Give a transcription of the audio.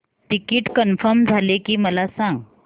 ticket confirm झाले की मला सांग